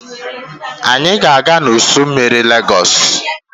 Anyị ga-aga n'ụsọ́ mmiri Lagos.